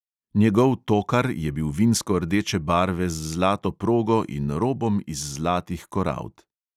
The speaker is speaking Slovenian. Njegov tokar je bil vinsko rdeče barve z zlato progo in robom iz zlatih korald.